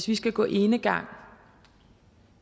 vi skal gå enegang